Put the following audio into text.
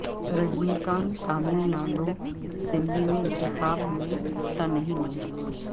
رجنی کانت Tamil Nadu assembly انتخابات میں حصہ نہیں لیں گے